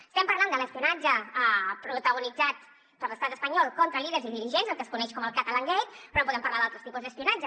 estem parlant de l’espionatge protagonitzat per l’estat espanyol contra líders i dirigents el que es coneix com el catalangate però podem parlar d’altres tipus d’espionatge